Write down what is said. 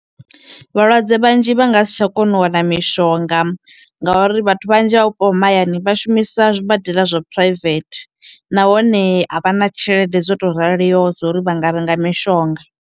Vhalwadze vhanzhi vha nga si tsha kona u wana mushonga ngauri vhathu vhanzhi vha vhupo ha mahayani vha shumisa zwibadela zwa private nahone avhana tshelede dzoto raliho dzo uri vhanga renga mishonga.